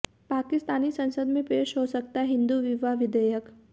पाकिस्तानी संसद में पेश हो सकता है हिंदू विवाह विधेयक